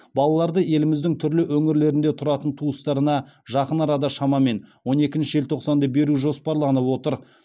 балаларды еліміздің түрлі өңірлерінде тұратын туыстарына жақын арада шамамен он екінші желтоқсанда беру жоспарланып отыр